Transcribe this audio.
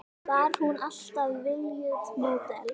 Var hún alltaf viljugt módel?